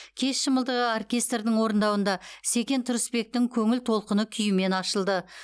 кеш шымылдығы оркестрдің орындауында секен тұрысбектің көңіл толқыны күйімен ашылды